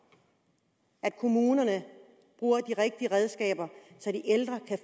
at kommunerne bruger de rigtige redskaber så de ældre kan